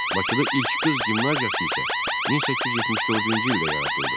Bakıda ilk qız gimnaziyası isə 1874-cü ildə yaradıldı.